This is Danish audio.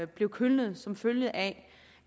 blev kølnet som følge af